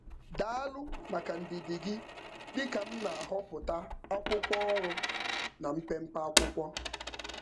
Daalu maka ndidi gị dị ka m na-ahọpụta akwụkwọ ọrụ na mpempe akwụkwọ.